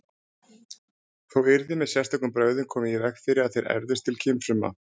Þó yrði með sérstökum brögðum komið í veg fyrir að þeir erfðust til kynfrumna.